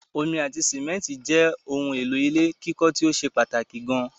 Omi ati simẹ́ntì jẹ́ ohun èlò ilé kíkọ́ tíó ṣe pàtàkì gan